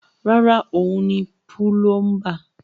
Rárá, òun ni púlọ́ḿbà.